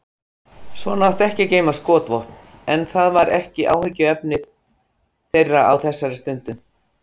Svona átti ekki að geyma skotvopn en það var ekki áhyggjuefni þeirra á þessari stundu.